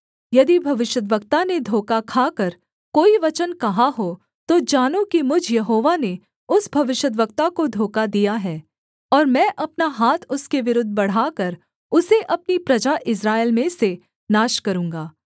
यदि भविष्यद्वक्ता ने धोखा खाकर कोई वचन कहा हो तो जानो कि मुझ यहोवा ने उस भविष्यद्वक्ता को धोखा दिया है और मैं अपना हाथ उसके विरुद्ध बढ़ाकर उसे अपनी प्रजा इस्राएल में से नाश करूँगा